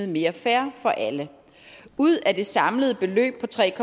mere fair for alle ud af det samlede beløb på tre